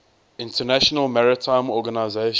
international maritime organization